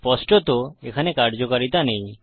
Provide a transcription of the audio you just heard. স্পষ্টত এখানে কার্যকারিতা নেই